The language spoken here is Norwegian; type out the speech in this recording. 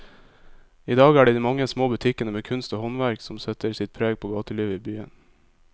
I dag er det de mange små butikkene med kunst og håndverk som setter sitt preg på gatelivet i byen.